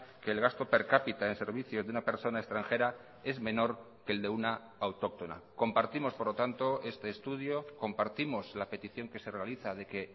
que el gasto per cápita en servicio de una persona extranjera es menor que el de una autóctona compartimos por lo tanto este estudio compartimos la petición que se realiza de que